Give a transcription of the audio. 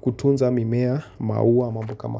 kutunza mimea maua mambo kama.